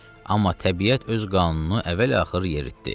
Amma təbiət öz qanununu əvvəl-axır yeritdi.